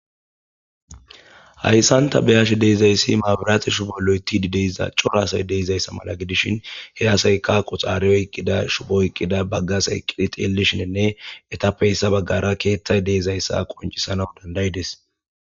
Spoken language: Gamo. Hayssanta beyash deezayssi maabiraati shu bo loytidideyza corasay deizayssa mala gidishin heasayka qoxaariyo iqqida shubo iqqida baggas eqqidi telishinenne etappeyssa baggara keeththay deizayssa qoncisana dandayides.